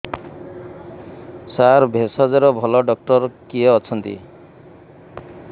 ସାର ଭେଷଜର ଭଲ ଡକ୍ଟର କିଏ ଅଛନ୍ତି